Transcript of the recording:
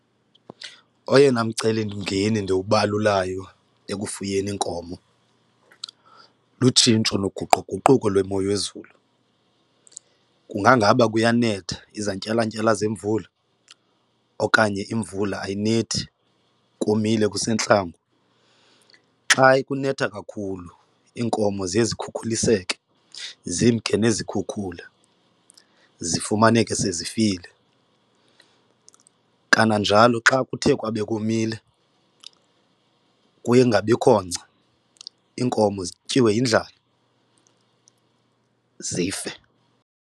Oyena mcelimngeni ndiwubalulayo ekufuyeni iinkomo lutshintsho loguquguquko lwemo yezulu, kungaba kuyanetha izantyalantyala zemvula okanye imvula ayinethi komile kusentlango. Xa kunetha kakhulu iinkomo ziye zikhukuliseke zimke nezikhukhula zifumaneke sezifile, kananjalo xa kuthe kwabe komile kuye kungabikho ngca iinkomo zityiwe yindlala zife.